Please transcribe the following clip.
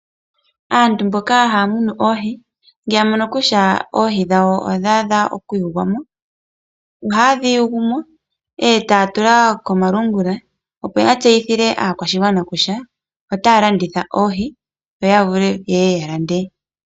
Aantu mboka haya munu oohi, ngele ya mono kutya oohi dhawo odha adha okuyulwa mo ohaye dhi yulu mo e taya tula komalungula, opo ya tseyithile aakwashigwana kutya otaya landitha oohi yo ya vule ye ye ya lande.